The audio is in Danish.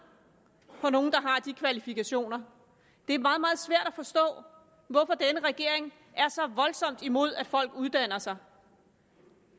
har de kvalifikationer det er meget meget svært at forstå hvorfor denne regering er så voldsomt imod at folk uddanner sig